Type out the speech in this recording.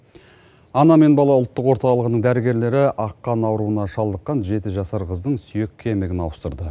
ана мен бала ұлттық орталығының дәрігерлері ақ қан ауруына шалдыққан жеті жасар қыздың сүйек кемігін ауыстырды